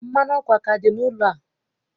Mmanụ ọkụ aka dị n'ụlọ a?